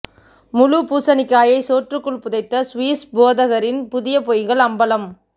முழுப் பூசனிக்காயை சோற்றுக்குள் புதைத்த சுவிஸ் போதகரின் புதிய பொய்கள் அம்பலம்